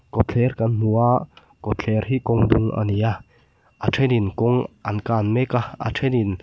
kawtthler kan hmu a kawtthler hi kawngdung a ni a a ṭhenin kawng an kan mek a a ṭhen in--